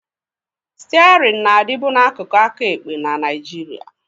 Stiarịn na-adịbu n'akụkụ aka ekpe na Nigeria